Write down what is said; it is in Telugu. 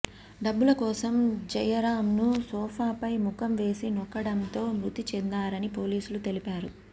డబ్బుల కోసం జయరాంను సోఫాపై ముఖం వేసి నొక్కడంతో మృతి చెందారని పోలీసులు తెలిపారు